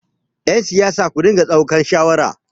yansiyasa ku dinga daukan shawara!